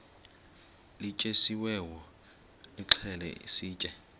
lityetyisiweyo nilixhele sitye